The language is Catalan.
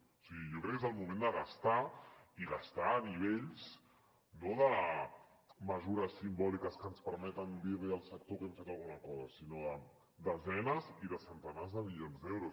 o sigui jo crec que és el moment de gastar i gastar a nivells no de mesures simbòliques que ens permeten dir li al sector que hem fet alguna cosa sinó de desenes i de centenars de milions d’euros